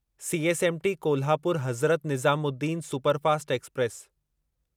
CSMT Kolhapur Hazrat Nizamuddin superfast express